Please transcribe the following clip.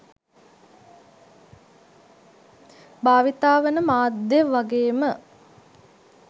භාවිතා වන මාධ්‍ය වගේම